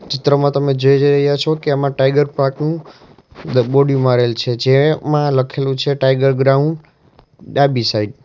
ચિત્રમાં તમે જોઈ રહ્યા છો કે આમાં ટાઈગર પાર્ક નું બોર્ડિંગ મારેલ છે જેમાં લખેલું છે ટાઈગર ગ્રાઉન્ડ ડાબી સાઈડ .